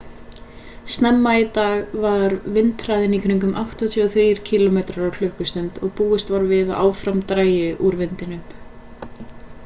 snemma í dag var vindhraðinn í kringum 83 km/klst. og búist var við að áfram drægi úr vindinum